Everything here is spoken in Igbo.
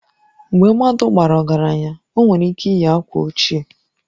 Mgbe mmadụ bara ọgaranya, o nwere ike iyi akwa ochie